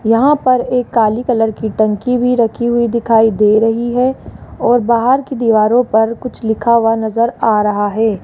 यहां पर एक काली कलर की टंकी भी रखी हुई दिखाई दे रही है और बाहर की दीवारों पर कुछ लिखा हुआ नजर आ रहा है।